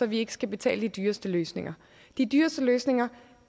vi ikke skal betale de dyreste løsninger de dyreste løsninger